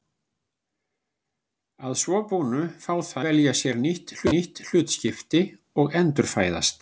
Að svo búnu fá þær að velja sér nýtt hlutskipti og endurfæðast.